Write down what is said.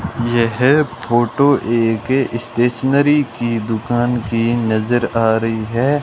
यह फोटो एक स्टेशनरी की दुकान की नजर आ रही है।